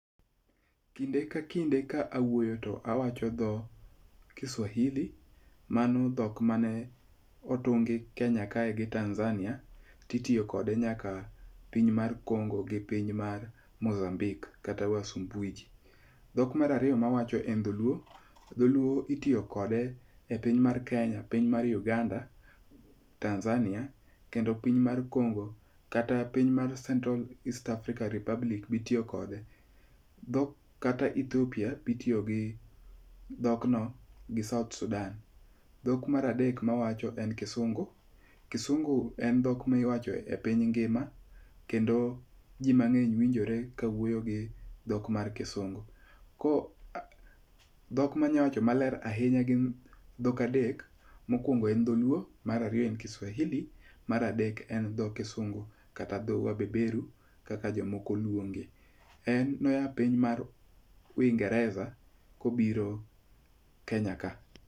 Kinde ka kinde ka awuoyo to awacho dho Kiswahili. Mano dhok mane otungi Kenya kae gi Tanzania ti tiyokode nyaka piny mar Congo gi piny mar Mozambique kata Wasumbwiji. Dhok mar ariyo mawacho en dholuo. Dholuo itiyo kode e pinya mar Kenya, piny mar Uganda, Tanzania, kendo piny mar Congo, kata piny mar Central East Africa Republic be itiyo kode. Kata Ethiopia be itiyo gi dhokno gi South Sudan. Dhok mar adek mawacho en kusungu. Kisungu en dhok miwacho e piny ngima kendo ji mang'eny winjore ka wuoyo gi dhok mar kisungu. Dhok manyawacho maler ahinya gin dhok adek. Mokwongo e dholuo. Mar ariyo en Kiswahili. Mar adek en dho kisungu kata dho wabeberu kaka jomoko luonge. En no ya piny mar Uingerez a kobiro Kenya ka.